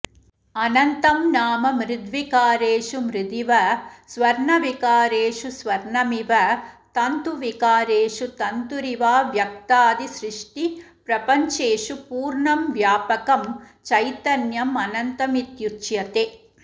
अनन्तं नाम मृद्विकारेषु मृदिव स्वर्णविकारेषु स्वर्णमिव तन्तुविकारेषु तन्तुरिवाव्यक्तादिसृष्टिप्रपञ्चेषु पूर्णं व्यापकं चैतन्यमनन्तमित्युच्यते